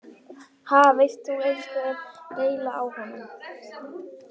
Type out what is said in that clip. Ha, veist þú einhver deili á honum?